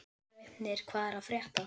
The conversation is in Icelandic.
Draupnir, hvað er að frétta?